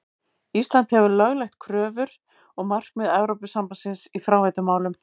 Ísland hefur lögleitt kröfur og markmið Evrópusambandsins í fráveitumálum.